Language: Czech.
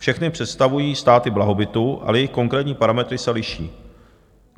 Všechny představují státy blahobytu, ale jejich konkrétní parametry se liší.